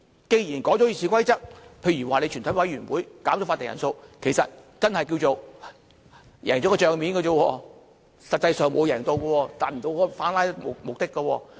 既然修改了《議事規則》，例如全體委員會減少法定人數，其實只是叫作"贏了帳面"，實際上沒有贏，無法達到反"拉布"的目的。